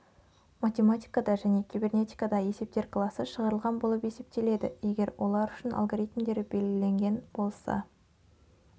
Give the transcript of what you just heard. математикада және кибернетикада есептер класы шығарылған болып есептеледі егер олар үшін алгоритмдері белгіленген болса